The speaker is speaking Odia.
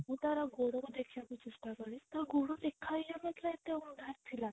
ମୁଁ ତାର ଗୋଡକୁ ଦେଖିବାକୁ ଚେଷ୍ଟା କଲି ତା ଗୋଡ ଦେଖା ହିଁ ଯାଉ ନଥିଲା ଏତେ ଅନ୍ଧାର ଥିଲା